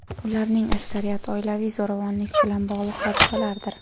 ularning aksariyati oilaviy zo‘ravonlik bilan bog‘liq hodisalardir.